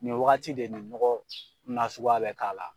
Nin wagati de nin nɔgɔ nasuguya bɛ k'a la.